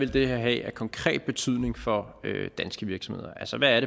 vil have af konkret betydning for danske virksomheder altså hvad